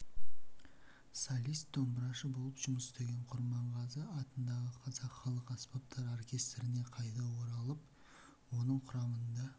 солист домбырашы болып жұмыс істеген құрманғазы атындағы қазақ халық аспаптар оркестріне қайта оралып оның құрамында